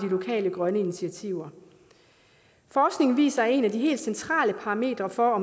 lokale grønne initiativer forskningen viser at en af de helt centrale parametre for